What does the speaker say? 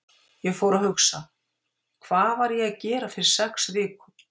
Ég fór að hugsa: Hvað var ég að gera fyrir sex vikum?